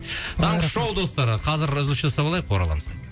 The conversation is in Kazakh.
таңғы шоу достар қазір үзіліс жасап алайық ораламыз